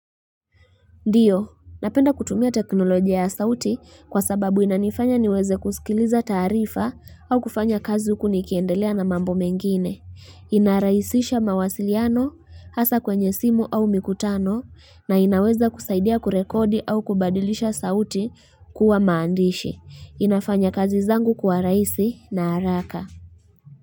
Ndiyo, napenda kutumia teknolojia ya sauti kwa sababu inanifanya niweze kusikiliza taarifa au kufanya kazi huku nikiendelea na mambo mengine. Hhh hi Inaraisisha mawasiliano, hasa kwenye simu au mikutano, na inaweza kusaidia kurekodi au kubadilisha sauti kuwa maandishi. Hhh inafanya kazi zangu kuwa raisi na araka.